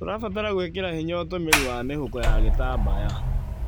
Tũrabatara gwĩkĩra hinya ũtũmĩri wa mĩhuko ya gĩtambaya,